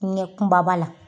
Nɛ kumaba la.